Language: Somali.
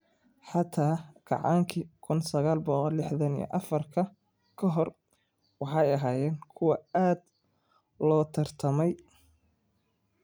xataa Kacaankii 1964 ka hor waxay ahaayeen kuwo aad loo tartamay.